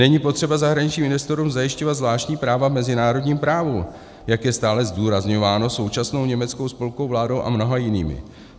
Není potřeba zahraničním investorům zajišťovat zvláštní práva v mezinárodním právu, jak je stále zdůrazňováno současnou německou spolkovou vládou a mnoha jinými.